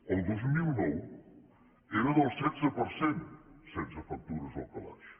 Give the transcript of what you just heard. el dos mil nou era del setze per cent sense factures al calaix